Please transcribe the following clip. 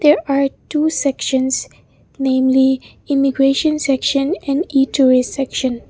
there are two sections namely immigration section and e tourist section.